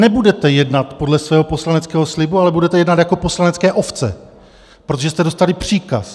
Nebudete jednat podle svého poslaneckého slibu, ale budete jednat jako poslanecké ovce, protože jste dostali příkaz.